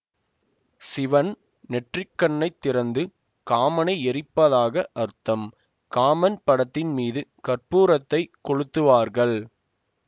சிவன் நெற்றிக் கண்ணை திறந்து காமனை எரிப்பதாக அர்த்தம் காமன் படத்தின் மீது கற்பூரத்தைக் கொளுத்துவார்கள்